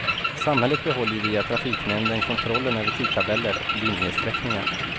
Samhället behåller ju via trafiknämnden kontrollen över tidtabeller och linjesträckningar.